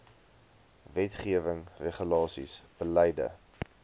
wetgewing regulasies beleide